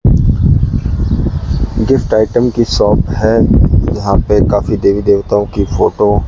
gift item की shop है यहां पे काफी देवी देवताओं की फोटो --